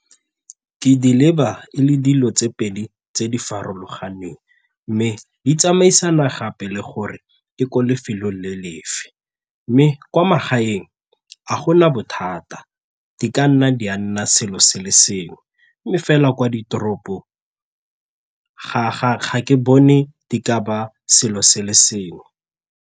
Ke di leba e le dilo tse pedi tse di farologaneng mme di tsamaisana gape le gore e ko lefelo le lefe mme kwa magaeng ga gona bothata, di ka nna di a nna selo se le sengwe mme fela kwa ditoropong ga ke bone di ka ba selo se le sengwe.